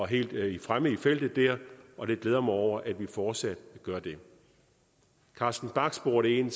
helt fremme i feltet der og det glæder jeg mig over at vi fortsat gør carsten bach spurgte ind